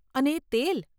અને એ તેલ!